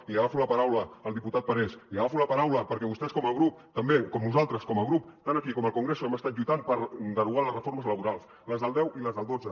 i li agafo la paraula al diputat parés li agafo la paraula perquè vostès com a grup també com nosaltres com a grup tant aquí com al congreso hem estat lluitant per derogar les reformes laborals les del deu i les del dotze